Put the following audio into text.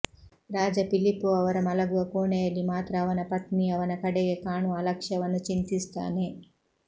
ರಾಜ Filippo ಅವರ ಮಲಗುವ ಕೋಣೆಯಲ್ಲಿ ಮಾತ್ರ ಅವನ ಪತ್ನಿ ಅವನ ಕಡೆಗೆ ಕಾಣುವ ಅಲಕ್ಷ್ಯವನ್ನು ಚಿಂತಿಸುತ್ತಾನೆ